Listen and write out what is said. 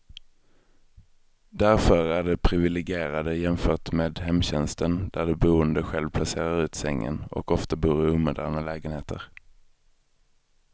Därför är de priviligierade jämfört med hemtjänsten där de boende själv placerar ut sängen, och ofta bor i omoderna lägenheter.